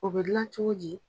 O bɛ gilan cogo di?